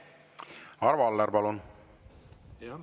Arvo Aller, palun!